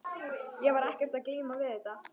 Ég var ekkert að glíma við þetta.